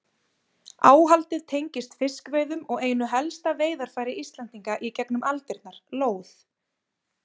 Áhaldið tengist fiskveiðum og einu helsta veiðarfæri Íslendinga í gegnum aldirnar, lóð.